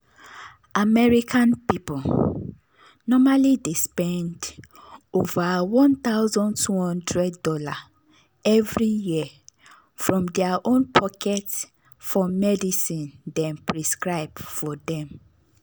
american people normally dey spend over one thousand two hundred dollar every yearfrom their own pocket for medicine dem prescribe for dem.